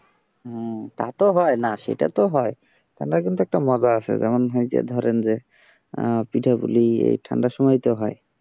হম তা তো হয় না সেটা তো হয় তাহলে কিন্তু একটা মজা আছে যেমন ধরেন যে পিঠেপুলি এই ঠান্ডার সময় তো হয়।